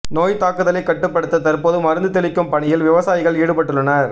நோய் தாக்குதலை கட்டுப்படுத்த தற்போது மருந்து தெளிக்கும் பணியில் விவசாயிகள் ஈடுபட்டுள்ளனர்